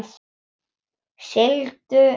Sigldu nú.